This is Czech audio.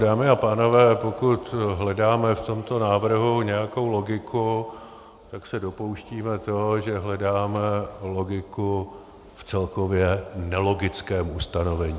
Dámy a pánové, pokud hledáme v tomto návrhu nějakou logiku, tak se dopouštíme toho, že hledáme logiku v celkově nelogickém ustanovení.